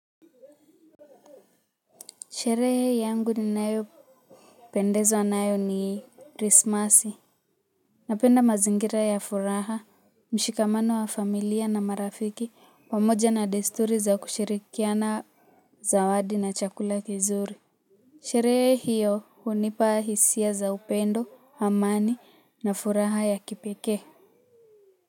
Sherehe yangu ninayo pendezwa nayo ni krismasi. Napenda mazingira ya furaha, mshikamano wa familia na marafiki pamoja na desturi za kushirikiana zawadi na chakula kizuri. Sherehe hiyo hunipa hisia za upendo, amani na furaha ya kipekee.